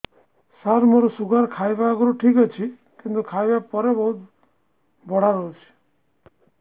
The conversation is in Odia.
ସାର ମୋର ଶୁଗାର ଖାଇବା ଆଗରୁ ଠିକ ଅଛି କିନ୍ତୁ ଖାଇବା ପରେ ବହୁତ ବଢ଼ା ରହୁଛି